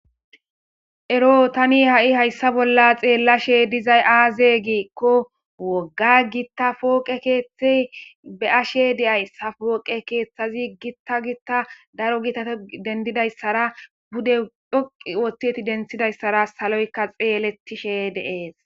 Ero hai tabi hayssa bolla xeelashe dizayi aze gikko woga gita poqqe keththa be'ashe de'aysi.poqe keththeti woga gita gita giddifa isara pude dhoqi otida issara saloyika xeeletishe beettes